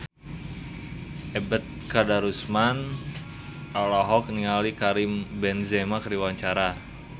Ebet Kadarusman olohok ningali Karim Benzema keur diwawancara